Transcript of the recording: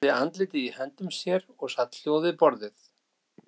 Kamilla grúfði andlitið í höndum sér og sat hljóð við borðið.